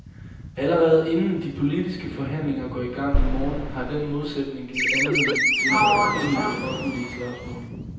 Allerede inden de politiske forhandlinger går i gang i morgen, har den modsætning givet anledning til adskillige offentlige slagsmål.